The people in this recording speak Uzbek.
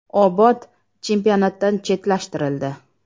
“Obod” chempionatdan chetlashtirildi.